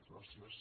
gràcies